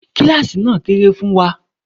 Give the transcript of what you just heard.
Kíláàsì náà kéré fún wa.